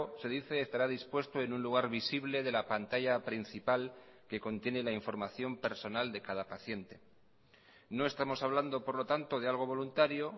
se dice estará dispuesto en un lugar visible de la pantalla principal que contiene la información personal de cada paciente no estamos hablando por lo tanto de algo voluntario